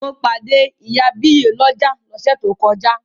Mo pàdé ìyá àbíyè lọ́jà lọ́sẹ̀ tó kọjá.